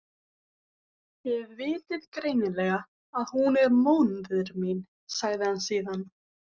Þið vitið greinilega að hún er móðir mín, sagði hann síðan.